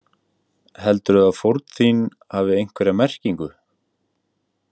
Heldurðu að fórn þín hafi einhverja merkingu?